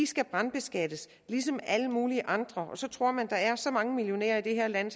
skal brandskattes ligesom alle mulige andre og så tror man at der er så mange millionærer i det her land